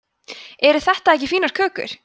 eru þetta ekki fínar kökur